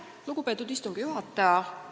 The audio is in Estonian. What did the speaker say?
Lugupeetud istungi juhataja!